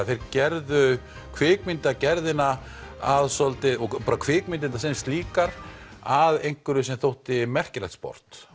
þeir gerðu kvikmyndagerðina að svolítið kvikmyndirnar sem slíkar að einhverju sem þótti merkilegt sport